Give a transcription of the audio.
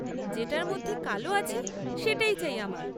যেটার মধ্যে কালো আছে সেটাই চাই আমার।